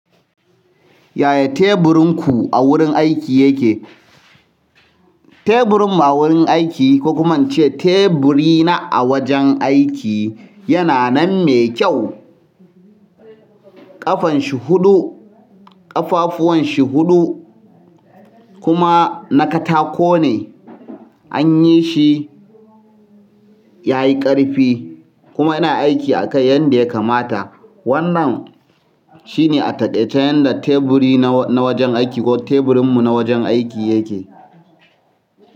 Yaya teburinku a wurin aiki yake? Teburin mu a wajen aiki, ko kuma ince teburi na awajen aiki yana nan me kyau ƙafan shi huɗu, ƙafafuwan shi huɗu kuma na katako ne. An yi shi ya yi ƙarfi kuma yana aiki akai yadda ya kamata. Wannan shi ne a takaice yanda teburina na wajen aiki ko teburinmu na wajen aiki yake.